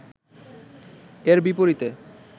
এর বিপরীতে